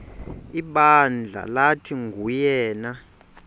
ibandla lathi nguyena